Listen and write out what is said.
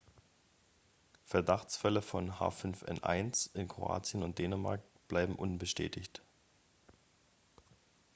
verdachtsfälle von h5n1 in kroatien und dänemark bleiben unbestätigt